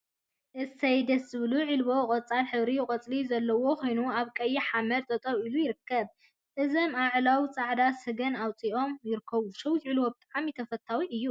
እሰይ ደስ ዝብሉ ዒልቦ ቆፃል ሕብሪ ቆፅሊ ዘለዎ ኮይኑ አብ ቀይሕ ሓመድ ጠጠው ኢሉ ይርከብ፡፡ እዞም አዕላው ፃዕዳ ሰገን አውፂኦም ይርከቡ፡፡ ሸዊት ዒልቦ ብጣዕሚ ተፈታዊ እዩ፡፡